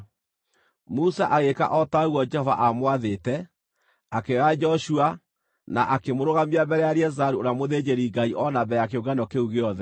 Musa agĩĩka o ta ũguo Jehova aamwathĩte. Akĩoya Joshua, na akĩmũrũgamia mbere ya Eleazaru ũrĩa mũthĩnjĩri-Ngai o na mbere ya kĩũngano kĩu gĩothe.